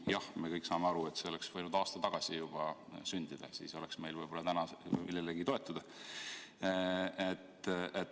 Jah, me kõik saame aru, et see oleks võinud juba aasta tagasi sündida, siis oleks meil täna võib-olla millelegi toetuda.